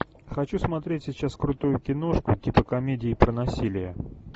хочу смотреть сейчас крутую киношку типа комедии про насилие